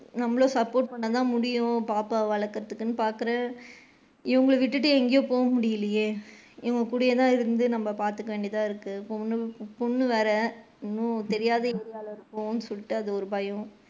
நம்மளும் support பண்ணுனா தான் முடியும் பாப்பாவ வழக்குரதுகுன்னு பாக்குறேன் இவுங்கள விட்டுட்டு எங்கேயும் போக முடியலையே இவுங்க கூடயே தான் இருந்து நாம பாத்துக்க வேண்டியதா இருக்கு பொண்ணு வேற தெரியாத area ல இருக்குரோம்ன்னு சொல்லிட்டு அது ஒரு பயம்.